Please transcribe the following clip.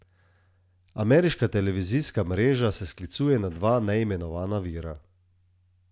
Ameriška televizijska mreža se sklicuje na dva neimenovana vira.